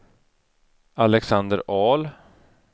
Alexander Ahl